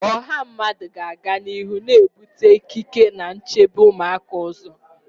Ọha mmadụ ga-aga n'ihu na-ebute ikike na nchebe ụmụaka ụzọ